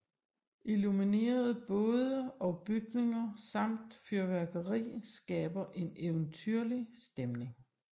Illuminerede både og bygninger samt fyrværkeri skaber en eventyrlig stemning